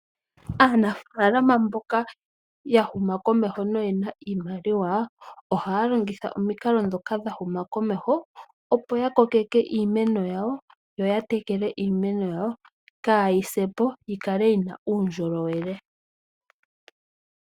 Aanafaalama mboka ya huma komeho noye na iimaliwa, ohaya longitha omikalo ndhoka dha huma komeho, opo ya kokeke iimeno yawo yo ya tekele iimeno yawo kaayi se po yi kale yi na uundjolowele.